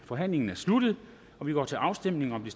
forhandlingen er sluttet og vi går til afstemning om de